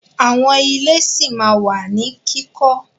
Àwọn ilé ṣí ma wà ní kíkọ́.